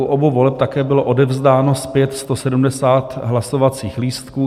U obou voleb také bylo odevzdáno zpět 170 hlasovacích lístků.